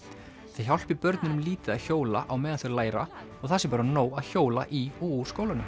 það hjálpi börnunum lítið að hjóla á meðan þau læra og það sé bara nóg að hjóla í og úr skólanum